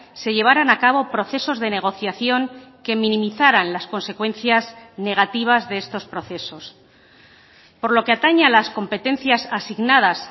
se llevarán a cabo procesos de negociación que minimizaran las consecuencias negativas de estos procesos por lo que atañe a las competencias asignadas